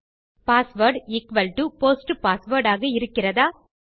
password equals to post password ஆக இருக்கிறதா